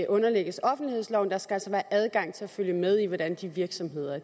underlægges offentlighedsloven altså der skal være adgang til at følge med i hvordan de virksomheder